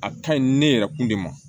A ka ɲi ne yɛrɛ kun de ma